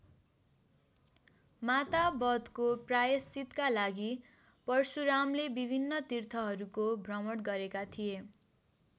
माता बधको प्रायश्चीतका लागि परशुरामले विभिन्न तिर्थहरूको भ्रमण गरेका थिए।